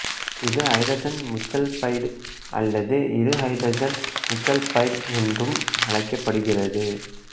இது ஐதரசன் முச்சல்பைடு அல்லது இருஐதரசன் முச்சல்பைடு என்றும் அழைக்கப்படுகிறது